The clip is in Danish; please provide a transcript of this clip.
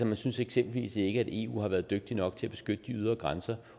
man synes eksempelvis ikke at eu har været dygtige nok til at beskytte de ydre grænser